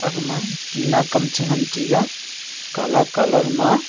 agma tina kam chengan tega kala colour ma.